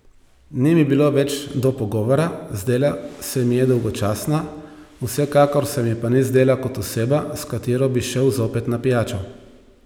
Ni mi bilo več do pogovora, zdela se mi je dolgočasna, vsekakor se mi pa ni zdela kot oseba, s katero bi šel zopet na pijačo.